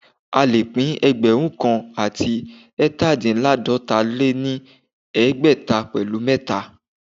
A lè pín ẹgbẹ̀rún kan àti ẹ̀tadínláàdọ́ta lé ní ẹgbẹ́ta pẹ̀lu mẹ̀ta